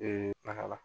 taga la